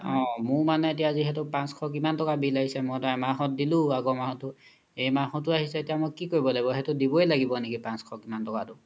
অ মোৰ জিহেতু পাঁচশ কিমান টাকাৰ bill আহিছে মইতো এহ মাহত দিলো আগৰ মাহ্তো এই মাহ্তো আহিছে সেইতো কি কৰিব লাগিব সেইতো দিবই লাগিব নেকি পাঁচশ কিমান টাকাতো